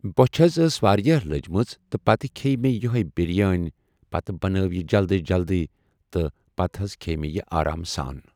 بۄچھِ حض ٲس واریاہ لٔجمٕژ تہٕ پَتہٕ کھیٚیہِ مےٚ یِہے بریٲنی پَتہٕ بنٲو یہِ جلدی جلدی تہٕ پَتہٕ حض کھیٚیہِ مےٚ یہِ آرام سان ۔